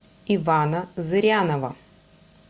ивана зырянова